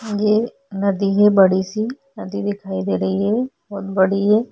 ये नदी है बड़ी सी नदी दिखाई दे रही है बहुत बड़ी--